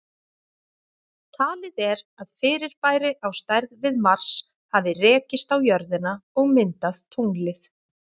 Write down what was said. Talið er að fyrirbæri á stærð við Mars hafi rekist á jörðina og myndað tunglið.